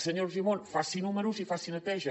senyor argimon faci números i faci neteja